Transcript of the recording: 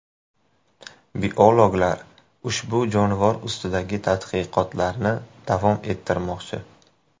Biologlar ushbu jonivor ustidagi tadqiqotlarni davom ettirmoqchi.